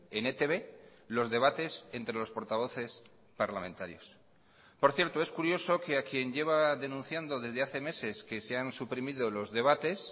en etb los debates entre los portavoces parlamentarios por cierto es curioso que a quien lleva denunciando desde hace meses que se han suprimido los debates